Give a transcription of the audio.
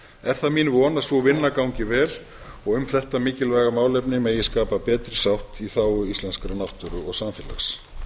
er það mín von að sú vinna gangi vel og um þetta mikilvæga málefni megi skapa betri sátt í þágu íslenskrar náttúru og samfélags